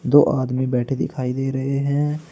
दो आदमी बैठे दिखाई दे रहे हैं।